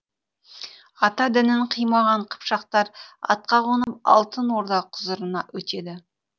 ата дінін қимаған қыпшақтар атқа қонып алтын орда құзырына өтеді